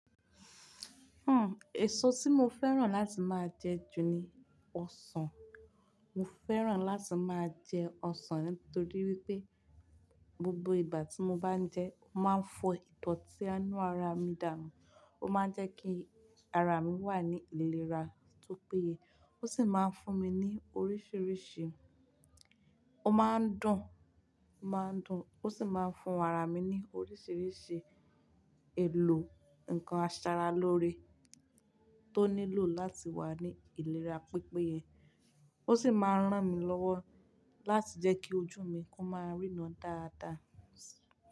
Hmm, èso tí mo fẹ́ràn láti máa jẹ jù ni ọsàn. Mo fẹ́ràn láti máa jẹ ọsàn nítorí wípé gbogbo ìgbà tí mo bá jẹ ẹ́, ó máa ń fọ idoti inú ara mi dànù. Ó máa ń jẹ́ kí ara mi wà ní ìlera tó péye. Ó sì máa ń fún mi ní oríṣiríṣi, ó máa ń dùn, ó máa ń dùn, ó sì máa ń fún ara mi ní oríṣiríṣi èlò nǹkan àṣaralóore tó nílò láti wà ní ìlera pípéye. Ó sì máa ń rán mi lọ́wọ́ láti jẹ́ kí ojú mi kó máa ríran dáadáa.